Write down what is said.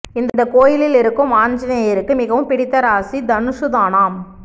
இந்த கோயிலில் இருக்கும் ஆஞ்சநேயருக்கு மிகவும் பிடித்த ராசி தனுசுதானாம்